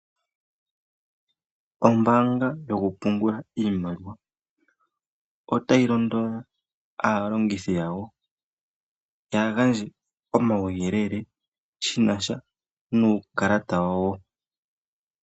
Ombaanga yokupungula iimaliwa otayi londodha aalongithi yawo kaa yagandje omauyelele shina sha nuukalata wawo.